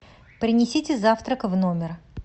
принесите завтрак в номер